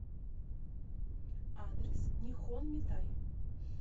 адрес нихон митай